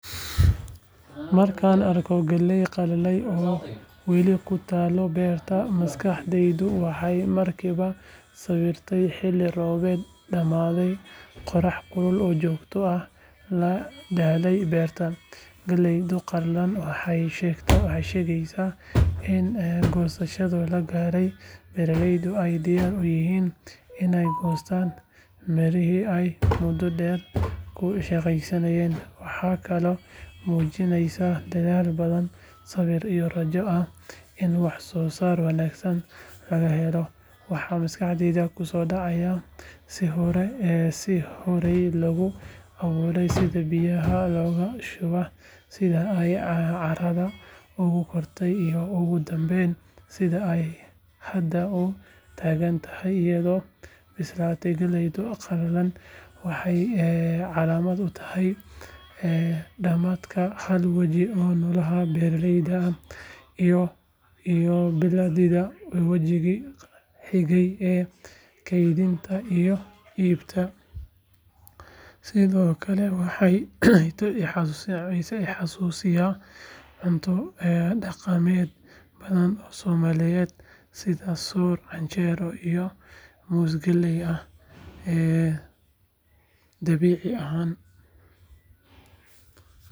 Markaan arko galley qalalay oo weli ku taalla beerta, maskaxdaydu waxay markiiba sawiraysaa xilli roobaad dhammaaday, qorrax kulul oo joogto ahna la daalay beerta. Galleydaas qalalan waxay sheegaysaa in goosashadii la gaaray, beeraleydu ay diyaar u yihiin inay goostaan midhihii ay muddo dheer ku shaqeynayeen. Waxay kaloo muujinaysaa dadaal badan, sabir iyo rajo ah in wax soo saar wanaagsan laga helo. Waxaa maskaxdayda ku soo dhacaya sidii horey loogu abuuray, sida biyaha loogu shubay, sida ay carrada ugu kortay, iyo ugu dambeyn sida ay hadda u taagan tahay iyadoo bislaatay. Galley qalalan waxay calaamad u tahay dhammaadka hal waji oo nolosha beeraleyda ah, iyo bilaabidda wajigii xigay ee kaydinta iyo iibinta. Sidoo kale waxay i xasuusisaa cunto dhaqameedyo badan oo soomaaliyeed sida soor, canjeero iyo muus galley ah. Dabiici ahaan.